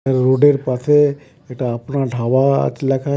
রোডের পাশে এটা আপনার ধাবা-আ লেখা আছে .